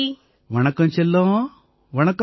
வணக்கம் செல்லம் வணக்கம்